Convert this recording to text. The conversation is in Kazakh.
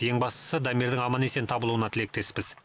ең бастысы дамирдің аман есен табылуына тілектеспіз